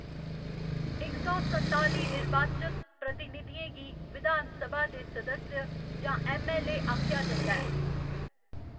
इस सौ संताली निर्वाचत प्रतिनिधियें गी विधान सभा दे सदस्य जां ऐम्म.ऐल्ल.ए. आखेआ जंदा ऐ।